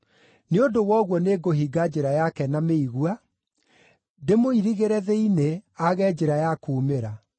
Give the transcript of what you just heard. Nĩ ũndũ wa ũguo nĩngũhinga njĩra yake na mĩigua, ndĩmũirigĩre thĩinĩ, aage njĩra ya kuumĩra.